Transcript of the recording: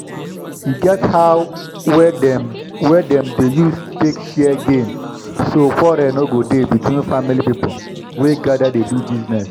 e get how wey dem wey dem dey use take share gain so quarrel no go dey between family people wey gather dey do bizness